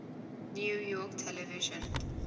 new york television